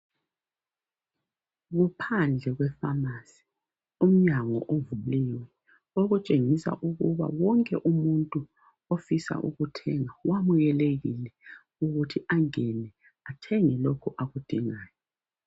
Kuphandle kwe pharmacy. Umnyango uvuliwe okutshengisa ukuba wonke umuntu ofisa ukuthenga wamukelekile ukuthi angene athenge lokho akudingayo.